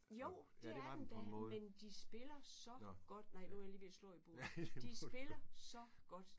Jo! Det er den da men de spiller så godt nej nu er jeg lige ved at slå i bordet. De spiller så godt